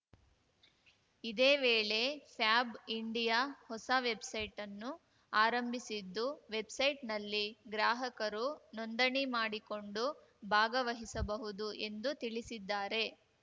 ಇದೇ ವೇಳೆ ಫ್ಯಾಬ್ ಇಂಡಿಯಾ ಹೊಸ ವೆಬ್‌ಸೈಟ್ ನ್ನು ಆರಂಭಿಸಿದ್ದು ವೆಬ್‌ಸೈಟ್‌ನಲ್ಲಿ ಗ್ರಾಹಕರು ನೋಂದಣಿ ಮಾಡಿಕೊಂಡು ಭಾಗವಹಿಸಬಹುದು ಎಂದು ತಿಳಿಸಿದ್ದಾರೆ